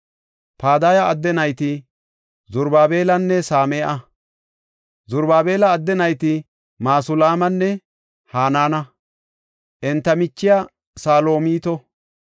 Padaya adde nayti Zarubaabelanne Same7a. Zarubaabela adde nayti Masulaamanne Hanaana; enta michiya Salomito.